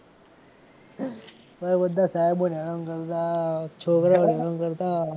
બધા સાહેબો ને હેરાન કરતાં છોકરાઓ ને હેરાન કરતાં.